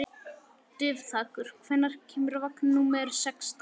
Dufþakur, hvenær kemur vagn númer sextán?